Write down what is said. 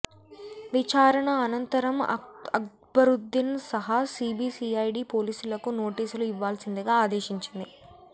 విచారణ అనంతరం అక్బరుద్దీన్ సహా సీబీసీఐడీ పోలీసులకు నోటీసులు ఇవ్వాల్సిందిగా ఆదేశించింది